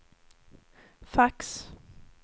fax